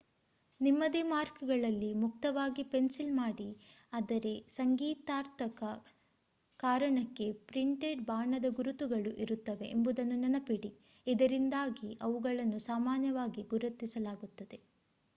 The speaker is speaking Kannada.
ನಿಮ್ಮದೇ ಮಾರ್ಕ್‌ಗಳಲ್ಲಿ ಮುಕ್ತವಾಗಿ ಪೆನ್ಸಿಲ್‌ ಮಾಡಿ ಅದರೆ ಸಂಗೀತಾತ್ಮಕ ಕಾರಣಕ್ಕೆ ಪ್ರಿಂಟೆಡ್‌ ಬಾಣದ ಗುರುತುಗಳು ಇರುತ್ತವೆ ಎಂಬುದನ್ನು ನೆನಪಿಡಿ ಇದರಿಂದಾಗಿ ಅವುಗಳನ್ನು ಸಾಮಾನ್ಯವಾಗಿ ಗೌರವಿಸಲಾಗುತ್ತದೆ